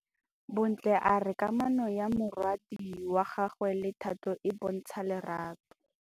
Bontle a re kamanô ya morwadi wa gagwe le Thato e bontsha lerato.